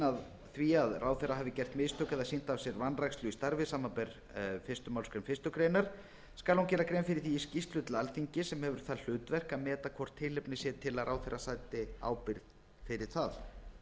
að því að ráðherra hafi gert mistök eða sýnt af sér vanrækslu í starfi samanber fyrstu málsgrein fyrstu grein skal hún gera grein fyrir því í skýrslu til alþingis sem hefur það hlutverk að meta hvort tilefni sé til að ráðherra sæti ábyrgð fyrir það